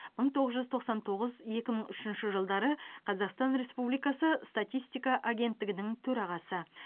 мың тоғыз жүз тоқсан тоғыз екі мың үшінші жылдары қазақстан республикасы статистика агенттігінің төрағасы